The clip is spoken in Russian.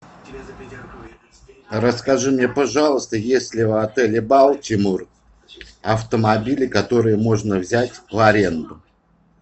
расскажи мне пожалуйста есть ли в отеле балтимор автомобили которые можно взять в аренду